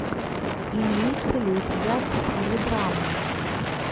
имеется ли у тебя в стиле драмы